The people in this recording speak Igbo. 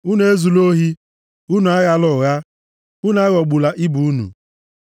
“ ‘Unu ezula ohi. “ ‘Unu aghala ụgha. “ ‘Unu aghọgbula ibe unu.